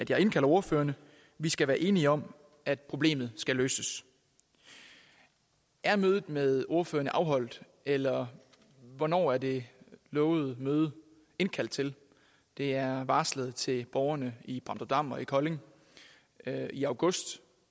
jeg indkalder ordførerne vi skal være enige om at problemet skal løses er mødet med ordførerne afholdt eller hvornår er det lovede møde indkaldt til det er varslet til borgerne i bramdrupdam og i kolding i august